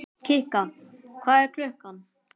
Kikka, hvað er klukkan?